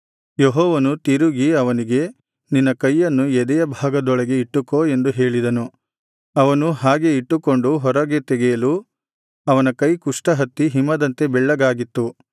ಯೆಹೋವನು ತಿರುಗಿ ಅವನಿಗೆ ನಿನ್ನ ಕೈಯನ್ನು ಎದೆಯಭಾಗದೊಳಗೆ ಇಟ್ಟುಕೋ ಎಂದು ಹೇಳಿದನು ಅವನು ಹಾಗೆ ಇಟ್ಟುಕೊಂಡು ಹೊರಗೆ ತೆಗೆಯಲು ಅವನ ಕೈ ಕುಷ್ಠ ಹತ್ತಿ ಹಿಮದಂತೆ ಬೆಳ್ಳಗಾಗಿತ್ತು